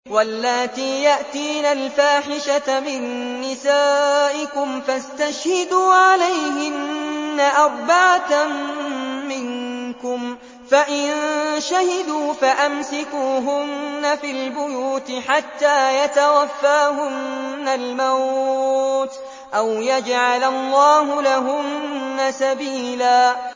وَاللَّاتِي يَأْتِينَ الْفَاحِشَةَ مِن نِّسَائِكُمْ فَاسْتَشْهِدُوا عَلَيْهِنَّ أَرْبَعَةً مِّنكُمْ ۖ فَإِن شَهِدُوا فَأَمْسِكُوهُنَّ فِي الْبُيُوتِ حَتَّىٰ يَتَوَفَّاهُنَّ الْمَوْتُ أَوْ يَجْعَلَ اللَّهُ لَهُنَّ سَبِيلًا